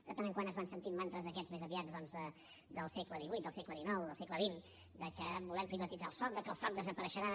de tant en tant es van sentint mantres d’aquests més aviat doncs del segle xviii del segle xix del segle xx que volem privatitzar el soc que el soc desapareixerà